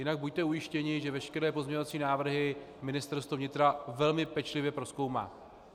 Jinak buďte ujištěni, že veškeré pozměňovací návrhy Ministerstvo vnitra velmi pečlivě prozkoumá.